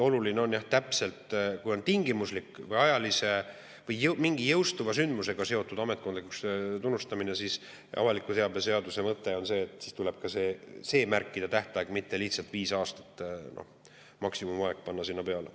Oluline on jah, et kui on tingimuslik või ajaliselt mingi jõustuva sündmusega seotud ametkondlikuks tunnistamine, siis avaliku teabe seaduse mõte on see, et siis tuleb ka märkida tähtaeg, mitte panna lihtsalt viis aastat, maksimumaeg, sinna peale.